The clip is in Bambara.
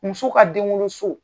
Muso ka denwoloso.